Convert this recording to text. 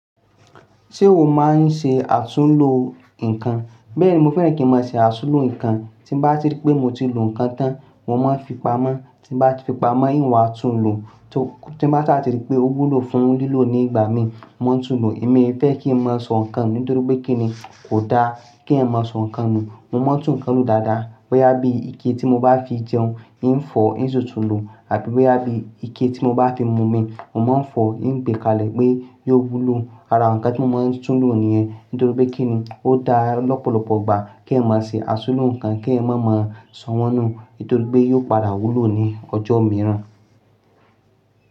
Ṣé o máa ń ṣe àtúnlò nǹkan? Bẹ́ẹ̀ni, mo fẹ́ràn kí n máa ṣe àtúnlò nǹkan. Tí mo bá rí pé mo ti lò nǹkan tán, mo máa fi pamọ́. Tí mo bá ti fi pamọ́, ìn wa á tún lò. Tí mo bá sa tí ri pé ó wúlò fún lílò ní ìgbà mi, mo ma ń tún lò. Èmi e fẹ́ kí n máa sọ nǹkan nu, nítorí pé kí ni? Kò da kí ẹyan máa sọ nǹkan nù. Mo máa ń tún nǹkan lò dáadáa. Boya bí ike tí mo bá fi jẹun, ìń fọ̀, ìń ṣi tún lò àbi boya bí ike tí mo bá fi mu omi, mo máa ń fọ̀, ì ń gbé kalẹ̀ pé yó wúlò. Ara nǹkan tí mo máa ń tún lò nìyẹn nítorí pé kí ni ó da lọ́pọ̀lọpọ̀ ìgbà kí ẹyan máa ṣe àtúnlò nǹkan kí ẹyan má máa sọ wọ́n nù nítorí pé yóò padà wúlò ní ọjọ́ mìíràn.